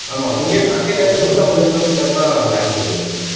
ஆமா இங்க இருந்து கீழ இருந்து நூற்றி ஐம்பது kilo meter தான் பெங்களூர்ரு